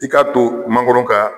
I ka to mankoro ka